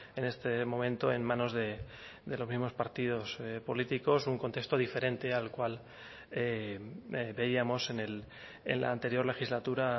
en este momento en manos de los mismos partidos políticos un contexto diferente al cual veíamos en la anterior legislatura